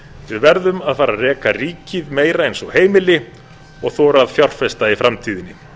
við verðum að fara að reka ríkið meira eins og heimili og þora að fjárfesta í framtíðinni